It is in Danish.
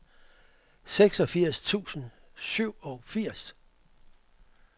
seksogfirs tusind og syvogfirs